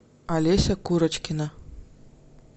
олеся курочкина